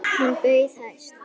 Hann bauð hæst.